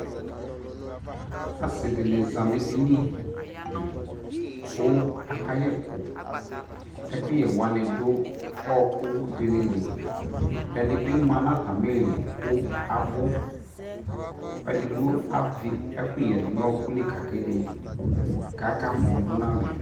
asii dini zanʋ ɛdini dili kʋ aka yɛkʋ, ɛkʋyɛ wani dʋ ɔkʋ dinili, ɛdibi manʋ atami ili kʋ abʋ, ɛdigbɔ avi ɛkʋyɛ dʋnʋ ɔkʋli ka ka ɛdi kʋ aka mɔ dʋnʋalɛ